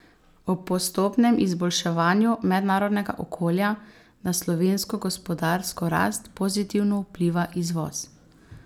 Ob postopnem izboljševanju mednarodnega okolja na slovensko gospodarsko rast pozitivno vpliva izvoz.